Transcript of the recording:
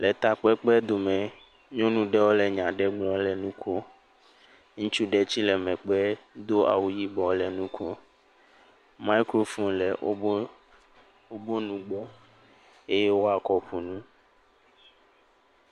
Le takpekpe dome. Nyɔnu ɖewo le nya gblɔm le nu ko. Ŋutsu ɖe tsɛ le megbe do awu yibɔ le nu kom. maɛkrofonu le woƒo nugbɔ eye woakɔ ƒo nu.